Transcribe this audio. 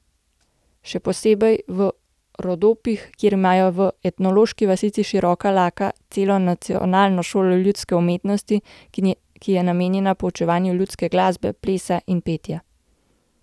Še posebej v Rodopih, kjer imajo v etnološki vasici Široka Laka celo nacionalno šolo ljudske umetnosti, ki je namenjena poučevanju ljudske glasbe, plesa in petja.